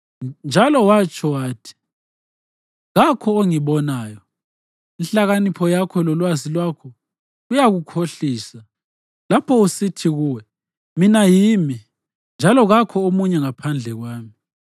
Wethembele ebubini bakho, njalo watsho wathi, ‘Kakho ongibonayo.’ Inhlakanipho yakho lolwazi lwakho kuyakukhohlisa lapho usithi kuwe, ‘Mina yimi, njalo kakho omunye ngaphandle kwami.’